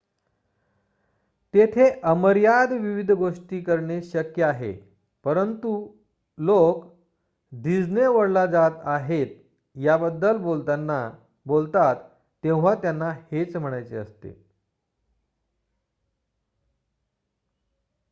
"तेथे अमर्याद विविध गोष्टी करणे शक्य आहे परंतु लोकं "डिस्ने वर्ल्डला जात आहे" याबद्दल बोलतात तेव्हा त्यांना हेच म्हणायचे असते.